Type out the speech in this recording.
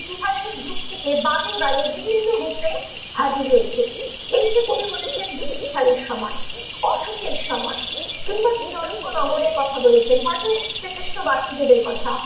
যুক্তিতে বারে বারে বিভিন্ন রূপে হাজির হয়েছে ।এই যে কবি বলেছেন বিম্বিসারের সময় অসুখের সময় কিংবা বিদর্ভ নগরের কথা বলেছেন, হয়তো শ্রী কৃষ্ণ বাসুদেবের কথা